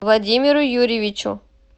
владимиру юрьевичу